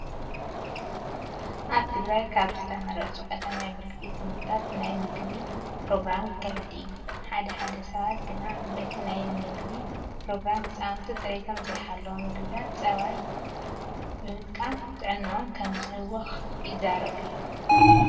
ኣብ ትግራይ ኣብ ዝተመረፁ ቀዳማይ ብርኪ ቤት ትምህርትታት ናይ ምገባ ፕሮግራም ይካየድ እዩ። ሓደ ሓደ ሰባት ግና በቲ ናይ ምገባ ፕሮግራም ህፃውንቲ ፅሬቶም ዘይሓለው ምግብታትን ፀባይ ብምጥቃም ጥዕነኦም ከም ዝህወኹ ይዛረቡ እዮም።